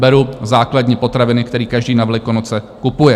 Beru základní potraviny, který každý na Velikonoce kupuje.